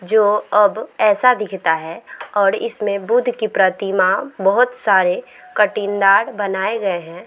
जो अब ऐसा दिखता हैऔर इसमें बुद्ध की प्रतिमा बहोत सारे कटिन दार बनाए गए हैं।